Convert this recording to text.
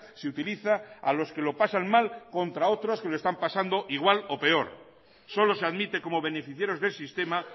se utiliza a los que lo pasan mal contra otros que lo están pasando igual o peor solo se admite como beneficiarios del sistema